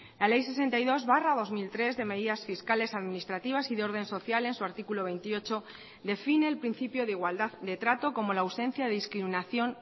la ley sesenta y dos barra dos mil tres de medidas fiscales administrativas y de orden social en su artículo veintiocho define el principio de igualdad de trato como la ausencia de discriminación